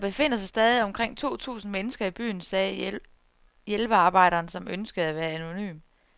Der befinder sig stadig omkring to tusind mennesker i byen, sagde hjælpearbejderen, som ønskede at være anonym.